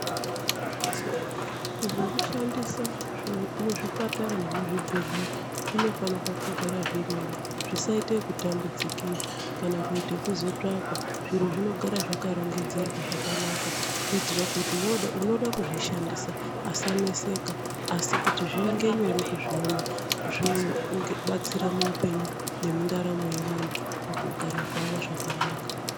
Zvekushandisa muzvipatara nemuzvibhedhlera zvinofanira kugara zvirimo, zvisaite kutambudzikira kana kuite kuzotsvakwa, zviro zvinogara zvakarongedzerwa zvakanaka kuitira kuti unoda kuzvishandisa asanetseka asi kuti zviinge nyore kuzviona zvichibatsira muupenyu nemuntaramo yevantu mukugara kwavo zvakanaka.